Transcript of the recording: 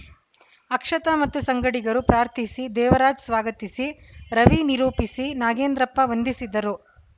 ಅಕ್ಷತಾ ಮತ್ತು ಸಂಗಡಿಗರು ಪ್ರಾರ್ಥಿಸಿ ದೇವರಾಜ್‌ ಸ್ವಾಗತಿಸಿ ರವಿ ನಿರೂಪಿಸಿ ನಾಗೇಂದ್ರಪ್ಪ ವಂದಿಸಿದರು